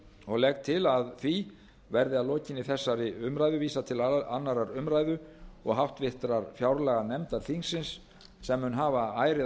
og legg til að því verði að lokinni þessari umræðu vísað til annarrar umræðu og háttvirtrar fjárlaganefndar þingsins sem mun hafa ærið að